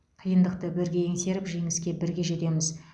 қиындықты бірге еңсеріп жеңіске бірге жетеміз